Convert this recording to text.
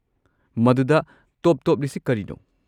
ꯃꯗꯨꯗ ꯇꯣꯞ-ꯇꯣꯞꯂꯤꯁꯦ ꯀꯔꯤꯅꯣ?